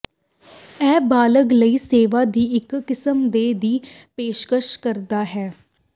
ਇਹ ਬਾਲਗ ਲਈ ਸੇਵਾ ਦੀ ਇੱਕ ਕਿਸਮ ਦੇ ਦੀ ਪੇਸ਼ਕਸ਼ ਕਰਦਾ ਹੈ